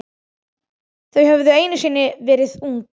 Þau höfðu einu sinni verið ung.